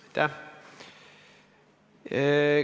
Aitäh!